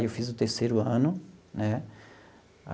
Aí, eu fiz o terceiro ano, né?